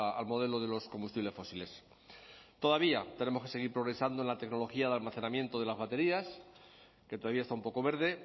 al modelo de los combustibles fósiles todavía tenemos que seguir progresando en la tecnología de almacenamiento de las baterías que todavía está un poco verde